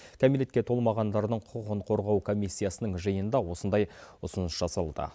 кәмелетке толмағандарының құқығын қорғау комиссиясының жиынында осындай ұсыныс жасалуда